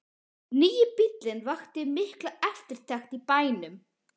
Nýi bíllinn vakti mikla eftirtekt í bænum.